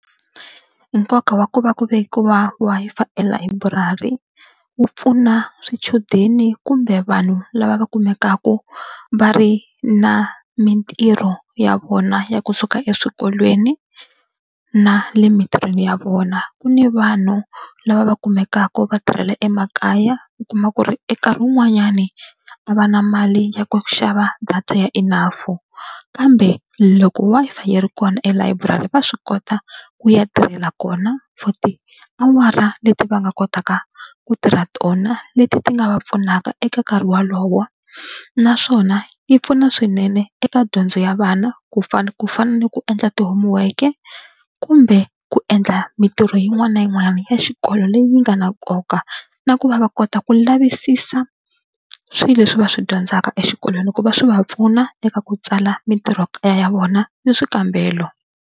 Nkoka wa ku va ku vekiwa Wi-Fi elayiburari wu pfuna swichudeni kumbe vanhu lava va kumekaka va ri na mitirho ya vona ya kusuka eswikolweni na le emitirhweni ya vona. Ku ni vanhu lava va kumekaka va tirhela emakaya u kuma ku ri e nkarhi wun'wanyani a va na mali ya ku xava data ya enough kambe loko Wi-Fi yi ri kona elayiburari va swi kota ku ya tirhela kona for tiawara leti va nga kotaka ku tirha tona leti ti nga va pfunaka eka nkarhi wolowo naswona yi pfuna swinene eka dyondzo ya vana ku fana ku fana ni ku endla ti-homework kumbe ku ku endla mitirho yin'wana na yin'wana ya xikolo leyi nga na nkoka na ku va va kota ku lavisisa swilo leswi va swi dyondzaka exikolweni hikuva swi va pfuna eka ku tsala mitirhokaya ya vona ni swikambelo.